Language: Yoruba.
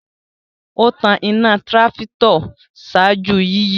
O tan ìnà trafitor ṣáájú yiyi